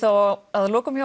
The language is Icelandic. að lokum